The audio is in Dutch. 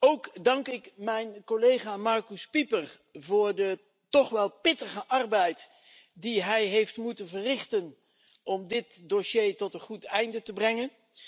Ook dank ik mijn collega Markus Pieper voor de toch wel pittige arbeid die hij heeft moeten verrichten om dit dossier tot een goed einde te brengen.